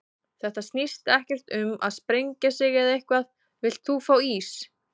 Þetta snýst ekkert um að sprengja sig eða eitthvað, villt þú fá ís?